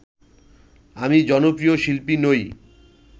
আমি জনপ্রিয় শিল্পী নই